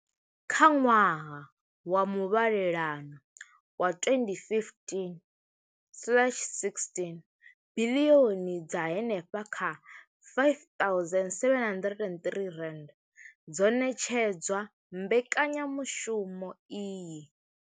Kha ṅwaha wa muvhalelano wa 2015,16, biḽioni dza henefha kha R5 703 dzo ṋetshedzwa mbekanyamushumo iyi.